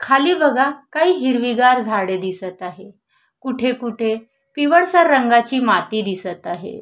खाली बघा काही हिरवी गार झाडे दिसत आहे कुटे कुठे पिवळसर रंगाची माती दिसत आहे.